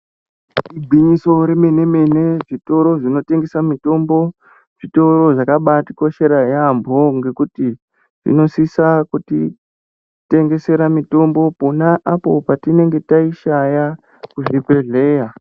Igwinyiso remene-mene zvitoro zvinotengesa mitombo zvitoro zvakabaatikoshera yaambo ngekuti inosisa kutitengesera mitombo pona apo patinenge taishaya kuzvibhehleya.